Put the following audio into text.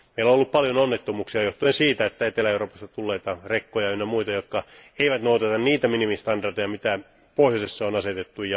Meillä on ollut paljon onnettomuuksia johtuen siitä, että Etelä Euroopasta tulleita rekkoja ja ynnä muita, jotka eivät noudata niitä minimistandardeja, mitä pohjoisessa on asetettu.